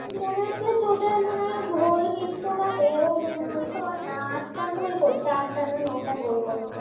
আমার মনে হচ্ছে Total মনে হচ্ছে whole বিশ্বকাপে মনে হয় ছটা আটটা গোল করছে আটটা না নটা গোল করছে